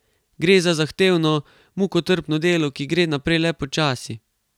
Gre za zahtevno, mukotrpno delo, ki gre naprej le počasi.